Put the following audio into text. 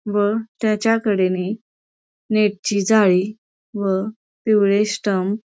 व तेच्या कडेने नेटची जाळी व पिवळे स्टंप --